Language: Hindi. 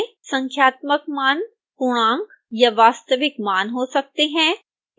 संख्यात्मक मान पूर्णांक या वास्तविक मान हो सकते हैं